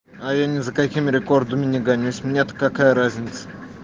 а я ни за каким рекордами не гонюсь мне-то какая разница